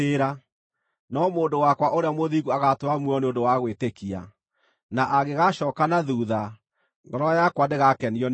No mũndũ wakwa ũrĩa mũthingu agaatũũra muoyo nĩ ũndũ wa gwĩtĩkia. Na angĩgacooka na thuutha, ngoro yakwa ndĩgakenio nĩwe.”